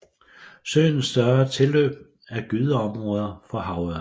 Søens større tilløb er gydeområder for havørred